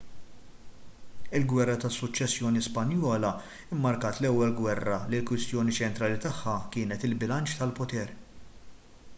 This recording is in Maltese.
il-gwerra tas-suċċessjoni spanjola mmarkat l-ewwel gwerra li l-kwistjoni ċentrali tagħha kienet il-bilanċ tal-poter